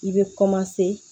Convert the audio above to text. I bɛ